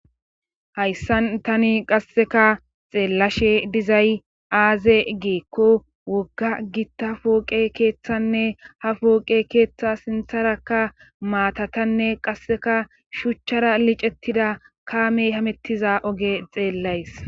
Hayssan tani qasseka xeellashe dizay aaze geekko wogga gitta pooqe keeththanne ha pooqe keeththa sintharakka maatatanne qasseka shuchchara licettida kaamey hamettiza oge xeellays.